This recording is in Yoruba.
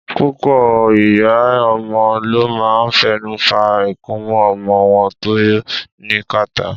Púpọ̀ ìyá ọmọ ló máa ń fẹnu fa ikunmú ọmọ wọn tó ní kàtá.